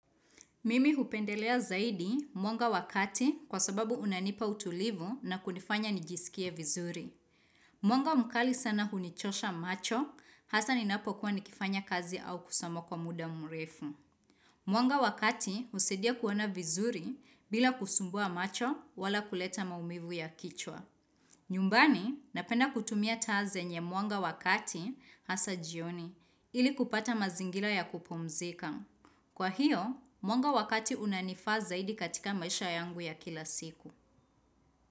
Mimi hupendelea zaidi mwanga wakati kwa sababu unanipa utulivu na kunifanya nijisikie vizuri. Mwanga mkali sana hunichosha macho, hasa ninapokuwa nikifanya kazi au kusoma kwa muda mrefu. Mwanga wakati husaidia kuona vizuri bila kusumbua macho wala kuleta maumivu ya kichwa. Nyumbani napenda kutumia taa zenye mwanga wakati hasa jioni ili kupata mazingila ya kupumzika. Kwa hiyo, mwanga wakati unanifa zaidi katika maisha yangu ya kila siku.